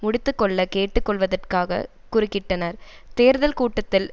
முடித்து கொள்ள கேட்டு கொள்வதற்காகக் குறுக்கிட்டனர் தேர்தல் கூட்டத்தில்